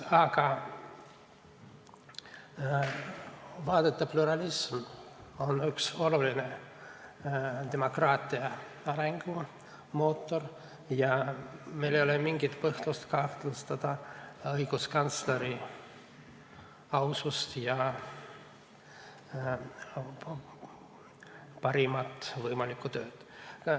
Aga vaadete pluralism on üks oluline demokraatia arengumootoreid ja meil ei ole mingit põhjust kahtlustada õiguskantsleri ausust ja seda, et ta ei tee parimat võimalikku tööd.